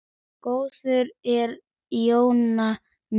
Góða ferð Jónína mín.